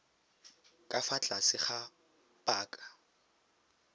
ka fa tlase ga paka